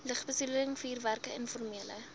lugbesoedeling vuurwerke informele